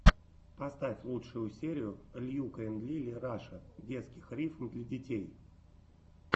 поставь лучшую серию льюка энд лили раша детских рифм для детей